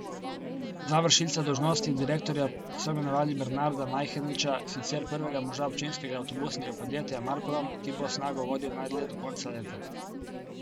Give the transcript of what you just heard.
Za vršilca dolžnosti direktorja so imenovali Bernarda Majheniča, sicer prvega moža občinskega avtobusnega podjetja Marprom, ki bo Snago vodil najdlje do konca leta.